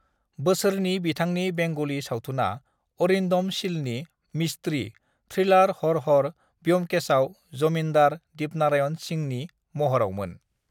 बोसोरनि बिथांनि बेंगली सावथुना अरिन्दम सिलनि मिस्ट्री थ्रिलार हर हर ब्युमकेशआव जमीन्दार दीपनारायण सिंहनि महरावमोन।